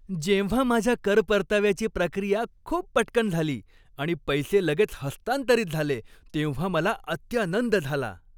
जेव्हा माझ्या कर परताव्याची प्रक्रिया खूप पटकन झाली आणि पैसे लगेच हस्तांतरित झाले तेव्हा मला अत्यानंद झाला.